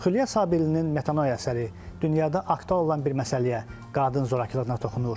Xülya Sabirlinin Metanoia əsəri dünyada aktual olan bir məsələyə qadın zorakılığına toxunur.